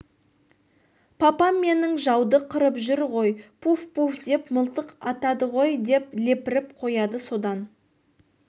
папам менің жауды қырып жүр ғой пуф пуф деп мылтық атады ғой деп лепіріп қояды содан